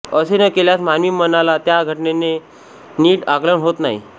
असे न केल्यास मानवी मनाला त्या घटनेचे नीट आकलन होत नाही